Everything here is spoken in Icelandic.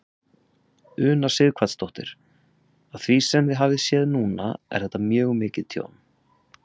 Una Sighvatsdóttir: Af því sem þið hafið séð núna er þetta mjög mikið tjón?